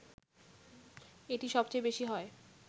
এটি সবচেয়ে বেশি হয়